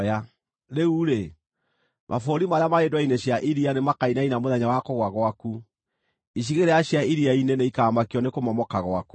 Rĩu-rĩ, mabũrũri marĩa marĩ ndwere-inĩ cia iria nĩmakainaina mũthenya wa kũgũa gwaku; icigĩrĩra cia iria-inĩ nĩikamakio nĩ kũmomoka gwaku.’